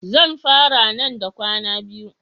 Zan fara nan da kwana biyu.